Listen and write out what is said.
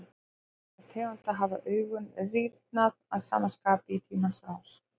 Meðal þessara tegunda hafa augun rýrnað að sama skapi í tímans rás.